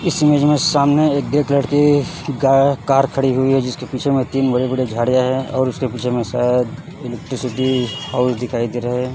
इस इमेज में सामने एक एक लड़की गा कार खड़ी हुई है जिसके पीछे में तीन बड़े बड़े झाड़ियां हैं और उसके पीछे में शायद इलेक्ट्रिसिटी हाउस दिखाई दे रहा है।